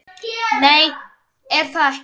Nei, ég er það ekki.